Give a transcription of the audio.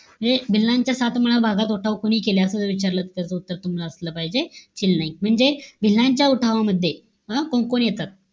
म्हणजे भिल्लांचे सातमाळा भागात उठाव कोणी केला? असं जर विचारलं, तर त्याच उत्तर तुम्हाला असलं पाहिजे, चिल नाईक. म्हणजे भिल्लांच्या उठावामध्ये अं कोणकोण येतात?